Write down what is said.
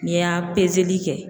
N'i y'a peseli kɛ.